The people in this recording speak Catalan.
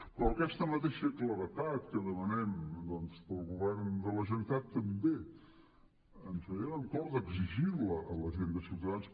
però aquesta mateixa claredat que demanem doncs per al govern de la generalitat també ens veiem amb cor d’exigir la a la gent de ciutadans